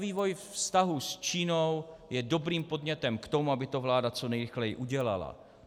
Vývoj vztahů s Čínou je dobrým podnětem k tomu, aby to vláda co nejrychleji udělala.